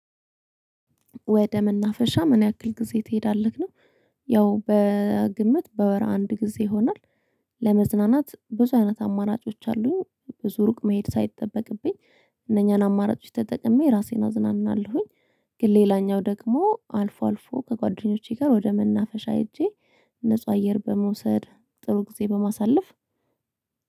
ወደ መናፈሻ ምን ያክል ጊዜ ትሄዳለህ ነው? ያው በግምት በወር አንድ ጊዜ ይሆናል። ለመዝናናት ብዙ አይነት አማራጮች አሉኝ ብዙ ሩቅ መሄድ ሳይጠበቅብኝ እነኛን አማራጮች ተጠቅሜ ራሴን አዝናናለሁኝ። ግን ሌላኛው ደግሞ አልፎ አልፎ ከጓደኞቼ ጋር ወደ መናፈሻ ሄጄ ንጹህ አየር በመውሰድ ጥሩ ጊዜ በማሳለፍ